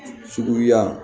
Suguya